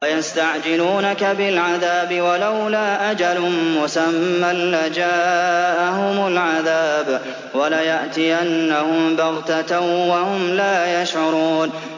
وَيَسْتَعْجِلُونَكَ بِالْعَذَابِ ۚ وَلَوْلَا أَجَلٌ مُّسَمًّى لَّجَاءَهُمُ الْعَذَابُ وَلَيَأْتِيَنَّهُم بَغْتَةً وَهُمْ لَا يَشْعُرُونَ